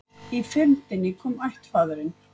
Í fyrndinni kom ættfaðirinn